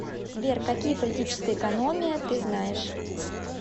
сбер какие политическая экономия ты знаешь